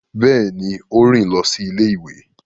Béèni, o rin lọ sí ilé-ìwé